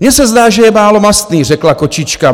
Mně se zdá, že je málo mastný, řekla kočička.